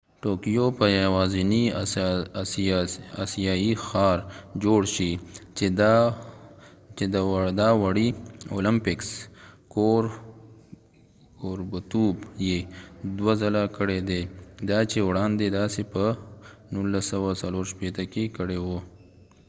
ټوکیو به یواځینۍ آسیايي ښار جوړ شي چې د اوړي اولمپکس کوربتوب يې دوه ځله کړی دی دا چې وړاندې داسې په 1964 کې کړي وو